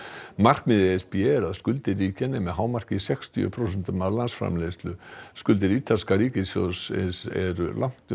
markmið e s b er að skuldir ríkja nemi að hámarki sextíu prósentum af vergri landsframleiðslu skuldir ítalska ríkissjóðsins eru langt